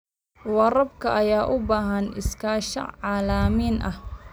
Waraabka ayaa u baahan iskaashi caalami ah.